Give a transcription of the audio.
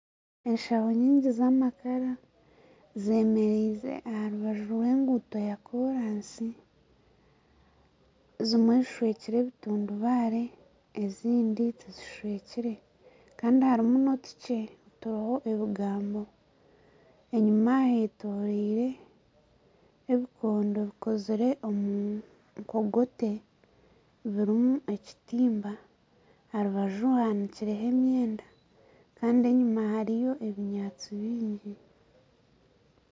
Enshaho nyingi z'amakara zemereize aha rubaju rw'enguuto yaakoraasi. Zimwe zishwekire ebitundubare, ezindi tizishwekire Kandi harimu n'otukye oturiho ebigambo. Enyima hetoreire ebikondo bikozire omu nkogote burimu ekitimba. Aha rubaju hahandikireho emyenda Kandi enyima hariyo ebinyaatsi bingi.